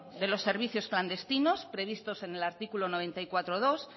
de los servicios clandestinos previstos en el artículo noventa y cuatro punto dos